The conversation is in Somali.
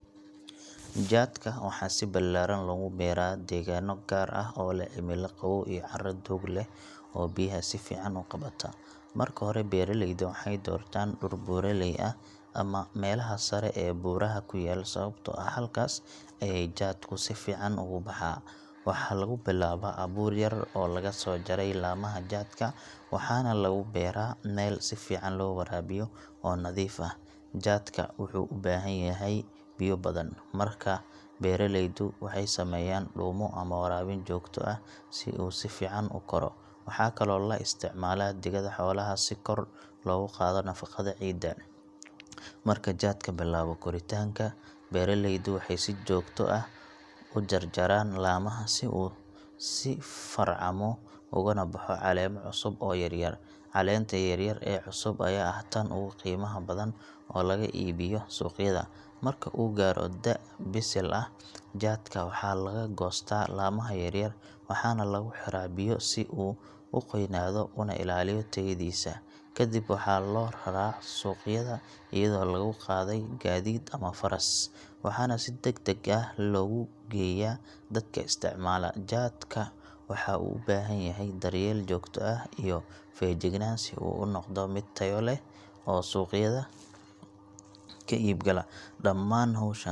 Jaadka waxaa si ballaaran loogu beeraa deegaanno gaar ah oo leh cimilo qabow iyo carro doog leh oo biyaha si fiican u qabata. Marka hore beeraleyda waxay doortaan dhul buuraley ah ama meelaha sare ee buuraha ku yaal sababtoo ah halkaas ayey jaadku si fiican ugu baxaa. Waxaa lagu bilaabaa abuur yar oo laga soo jaray laamaha jaadka, waxaana lagu beeraa meel si fiican loo waraabiyo oo nadiif ah. Jaadka wuxuu u baahan yahay biyo badan, markaa beeraleydu waxay sameeyaan dhuumo ama waraabin joogto ah si uu si fiican u koro. Waxaa kaloo la isticmaalaa digada xoolaha si kor loogu qaado nafaqada ciidda. Marka jaadka bilaabo koritaanka, beeraleydu waxay si joogto ah u jarjaraan laamaha si uu u sii farcamo uguna baxo caleemo cusub oo yaryar. Caleenta yaryar ee cusub ayaa ah tan ugu qiimaha badan oo laga iibiyaa suuqyada. Marka uu gaaro da’ bisil ah, jaadka waxaa laga goostaa laamaha yaryar waxaana lagu xiraa biyo si uu u qoynaado una ilaaliyo tayadiisa. Ka dib waxaa loo raraa suuqyada iyadoo lagu qaaday gaadiid ama faras, waxaana si degdeg ah loogu geeyaa dadka isticmaala. Jaadka wuxuu u baahan yahay daryeel joogto ah iyo feejignaan si uu u noqdo mid tayo leh oo suuqyada ka iibgala. Dhammaan hawshan.